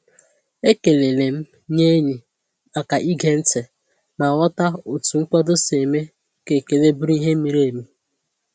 Ekelele m nye enyi maka ige ntị ma ghọta otu nkwado si eme ka ekele bụrụ ihe miri emi.